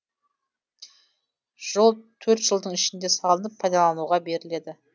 жол төрт жылдың ішінде салынып пайдалануға беріледі